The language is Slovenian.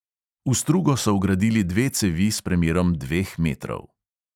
V strugo so vgradili dve cevi s premerom dveh metrov.